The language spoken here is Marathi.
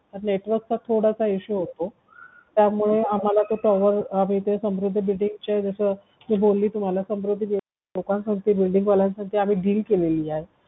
building चा थोडासा issue होतो त्यामुळे आम्हाला त्याच्यावरआम्ही ते सुमृद्धी building चे मी बोलली तुम्हाला सुमृद्धी building लोकांसोबत आम्ही deal केलेली आहे